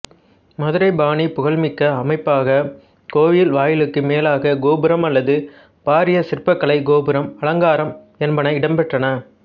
மதுரைப் பாணி புகழ்மிக்க அமைப்பாக கோயில் வாயிலுக்கு மேலாக கோபுரம் அல்லது பாரிய சிற்பக்கலைக் கோபுரம் அலங்காரம் என்பன இடம்பெற்றன